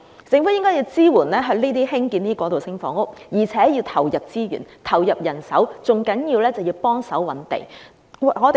政府應支援興建過渡性房屋，而且要投入資源和人手，最重要的是協助覓地。